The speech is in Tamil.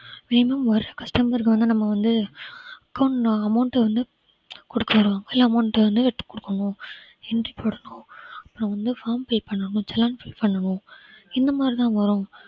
customer க்கு வந்து நம்ம வந்து account amount வந்து கொடுக்க சொல்லுவாங்க இல்ல amount வந்து எடுத்து கொடுக்கணும் entry போட சொல்லுவாங்க நான் வந்து form fill பண்ணனும் challan fill பண்ணனும் இந்த மாதிரிதான் வரும்